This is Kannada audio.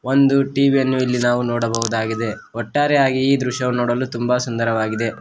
ಒಂದು ಟಿ_ವಿ ಯನ್ನು ಇಲ್ಲಿ ನಾವು ನೋಡಬಹುದಾಗಿದೆ ಒಟ್ಟಾರೆಯಾಗಿ ಈ ದೃಶ್ಯವನ್ನು ನೋಡಲು ತುಂಬ ಸುಂದರವಾಗಿದೆ.